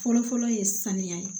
Fɔlɔfɔlɔ ye saniya ye